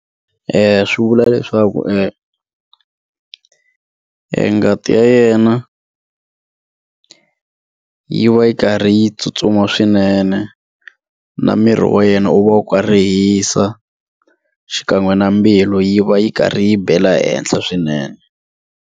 Swi vula leswaku ngati ya yena yi va yi karhi yi tsutsuma swinene na miri wa yena u va ka ri hisa xikan'we na mbilu yi va yi karhi yi bela ehenhla swinene.